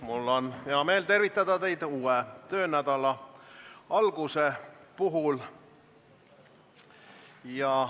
Mul on hea meel tervitada teid uue töönädala alguse puhul.